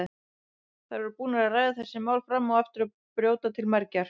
Þær voru búnar að ræða þessi mál fram og aftur og brjóta til mergjar.